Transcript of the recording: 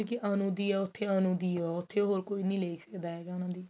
ਅਨੂ ਦੀ ਉੱਥੇ ਅਨੂ ਦੀ ਆ ਉੱਥੇ ਹੋਰ ਕੋਈ ਨੀ ਲਈ ਸਕਦਾ ਉਹਨੂੰ